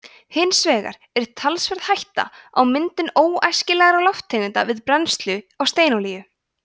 hins vegar er talsverð hætta á myndun óæskilegra lofttegunda við brennslu á steinolíu